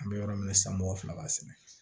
An bɛ yɔrɔ min na san mɔgɔ fila b'a sɛnɛ